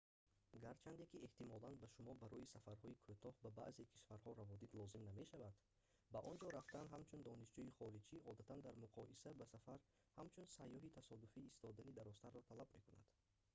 гарчанде ки эҳтимолан ба шумо барои сафарҳои кӯтоҳ ба баъзе кишварҳо раводид лозим намешавад ба онҷо рафтан ҳамчун донишҷӯи хориҷӣ одатан дар муқоиса ба сафар ҳамчун сайёҳи тасодуфӣ истодани дарозтарро талаб мекунад